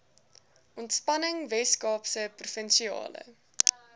ontspanning weskaapse provinsiale